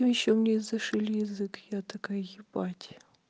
ну ещё мне зашили язык я такая ебать